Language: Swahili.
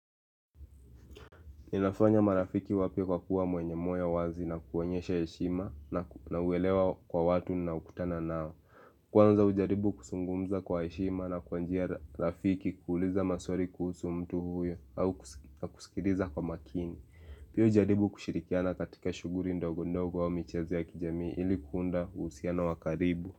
Inafanya marafiki wapia kwa kuwa mwenye moyo ya wazi na kuonyesha heshima na uelewa kwa watu na unaokutana nao Kwanza ujaribu kusungumza kwa heshima na kwa njia rafiki kuuliza maswari kuhusu mtu huyo au kusikiriza kwa makini Piya ujaribu kushirikiana katika shuguri ndogo ndogo wao michezi ya kijami ilikuunda uhusiano wakaribu.